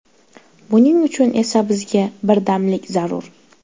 Buning uchun esa bizga birdamlik zarur.